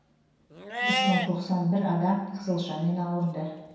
үш мың тоқсан бір адам қызылшамен ауырды